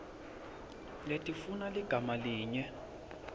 letifuna ligama linye